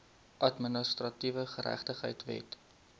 administratiewe geregtigheid wet